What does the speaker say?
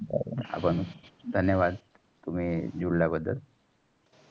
आपण धन्यवाद. तुमी जुडल्या बददल